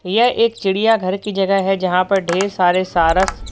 यह एक चिड़ियाघर की जगह है जहां पर ढेर सारे सारस--